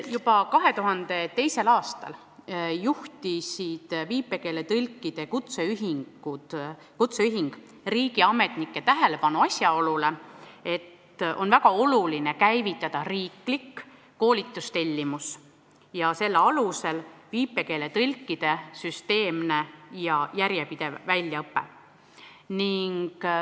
Juba 2002. aastal juhtis viipekeeletõlkide kutseühing riigiametnike tähelepanu asjaolule, et on väga oluline käivitada riiklik koolitustellimus ja selle alusel viipekeeletõlkide süsteemne ja järjepidev väljaõpe.